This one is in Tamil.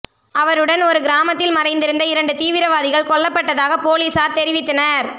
அவருடன் ஒரு கிராமத்தில் மறைந்திருந்த இரண்டு தீவிரவாதிகள் கொல்லப்பட்டதாக போலீசார் தெரிவித்தனர்